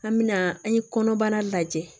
An bɛna an ye kɔnɔbara lajɛ